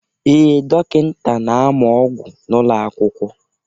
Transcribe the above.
Ee, dọkịta na-amụ ọgwụ n'ụlọ akwụkwọ.